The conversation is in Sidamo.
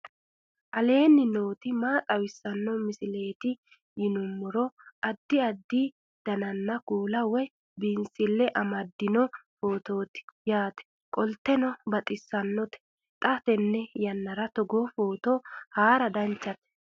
aleenni nooti maa xawisanno misileeti yinummoro addi addi dananna kuula woy biinsille amaddino footooti yaate qoltenno baxissannote xa tenne yannanni togoo footo haara danchate